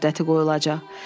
Sınaq müddəti qoyulacaq.